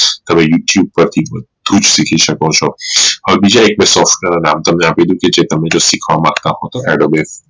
તમે youtube પરથી બધું જ શીખી શકો છો હવે બીજા એક software નું નામ તમને આપી દવ કે જ તમે શીખવા માંગતા હોવ તો